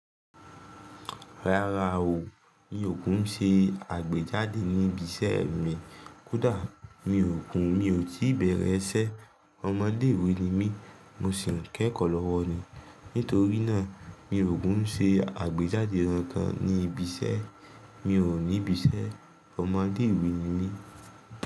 Rárá o, mi ò kún ṣé àgbéjáde ní ibi iṣẹ́ mi. Kódà mi ò kún mi ò tí bẹ̀rẹ̀ iṣẹ́. Ọmọdé ìwé ni mí, mo sì ń kẹ́kọ̀ọ́ lọ́wọ́ ni. Nítorí náà, mi ò kún ṣé àgbéjáde ran kan ní ibi iṣẹ́. Mi ò ní ibi iṣẹ́, ọmọdé ìwé ni mí.